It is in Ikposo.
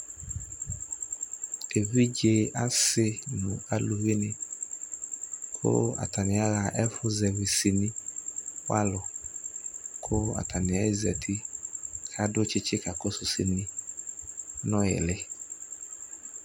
ɛvidzɛ asii nʋ alʋvi ni kʋ atani aha ɛƒʋzɛvi sini walʋ kʋ atani ɛzati kʋ adʋ tsitsi kakɔsʋ ɛsɛ nɔ ili